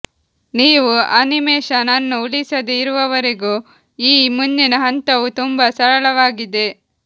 ನೀವು ಅನಿಮೇಶನ್ ಅನ್ನು ಉಳಿಸದೇ ಇರುವವರೆಗೂ ಈ ಮುಂದಿನ ಹಂತವು ತುಂಬಾ ಸರಳವಾಗಿದೆ